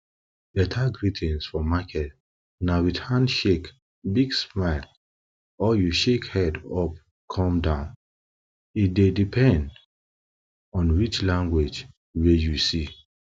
better greetings for market na with handshake big smile or you shake head up come down e dey depend on which language wey you see